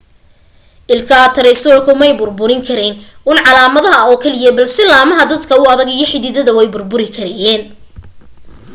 ilkaha taraysaratoobku may burburin karayn uun caleemaha oo keliya balse laamaha aadka u adaga iyo xiddidaba way burburin karayeen